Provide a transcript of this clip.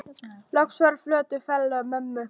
Loks var eins og fjötrar féllu af mömmu.